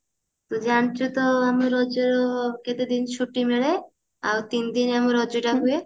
ଜାଣିଛୁ ତ ଆମର ଯୋଉ କେତେ ଦିନ ଛୁଟି ମିଳେ ଆଉ ତିନିଦିନ ଆମର ରଜ ଟା ହୁଏ